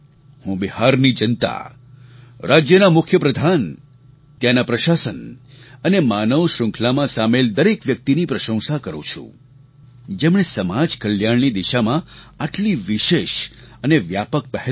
હું બિહારની જનતા રાજ્યના મુખ્યપ્રધાન ત્યાંના પ્રશાસન અને માનવ શ્રૃંખલામાં સામેલ દરેક વ્યક્તિની પ્રશંસા કરું છું જેમણે સમાજ કલ્યાણની દિશામાં આટલી વિશેષ અને વ્યાપક પહેલ કરી